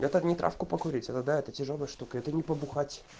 это не травку покурить это да тяжёлая штука это не побухать